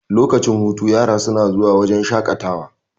lokacin hutu yara suna zuwa wajen shaƙatawa